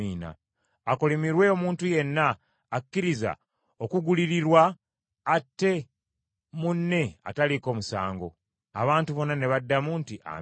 “Akolimirwe omuntu yenna akkiriza okugulirirwa atte munne ataliiko musango.” Abantu bonna ne baddamu nti, “Amiina.”